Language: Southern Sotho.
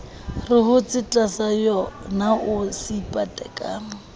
re hotse tlasayonao se ipateka